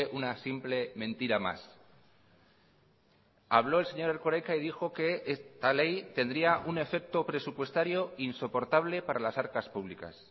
una simple mentira más habló el señor erkoreka y dijo que esta ley tendría un efecto presupuestario insoportable para las arcas públicas